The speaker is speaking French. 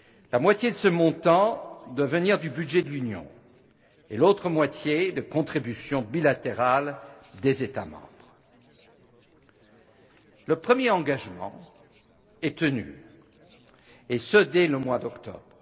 La moitié de ce montant doit provenir du budget de l'Union et l'autre moitié, de contributions bilatérales des États membres. Le premier engagement est tenu, et ce dès le mois d'octobre.